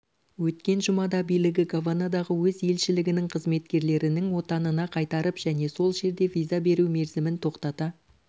өткен жұмада билігі гаванадағы өз елшілігінің қызметкерлерінің отанына қайтарып және сол жерде виза беру мерзімін тоқтата